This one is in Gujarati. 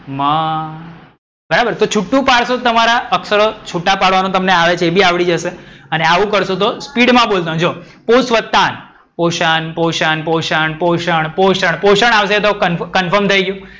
મ બરાબર તો છૂટું પાડશો તો તમારા અક્ષરો તમને છૂટા પાડવાનું તમને એ બી આવડી જશે અને આવું કરશો તો speed માં બોલુ જો પોષ વત્તા અણ, પોષણ, પોષણ, પોષણ, પોષણ, પોષણ, પોષણ આવસે એ confirm થઈ ગયું.